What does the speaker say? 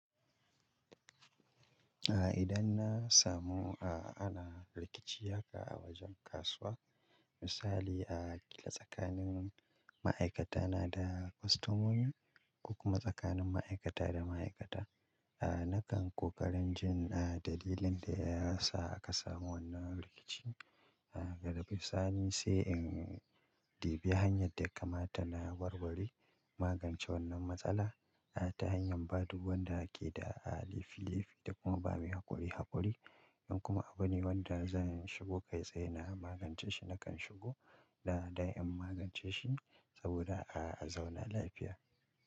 Idan na samu ana rikici haka a wajen kasuwa, misali a a tsakanin ma'aikatana da kostomomi, ko kuma tsakanin ma'aikata da ma'aikata, nakan ƙoƙarin jin dalilin da ya sa aka samu wannan rikici. Daga sani, sai in debi hanyar da kamata na warware magance wannan matsala ta hanyar ba duk wanda da ake da a laifi laifi da kuma ba mai haƙuri haƙuri. In kuma abune wanda zan shigo kai tsaye na magance shi, nakan shigo da ɗan in magance shi saboda a zauna lafiya.